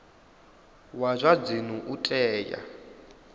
wa zwa dzinnu u tea